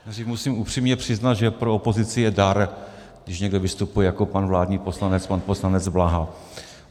Musím upřímně přiznat, že pro opozici je dar, když někdo vystupuje jako pan vládní poslanec, pan poslanec Bláha.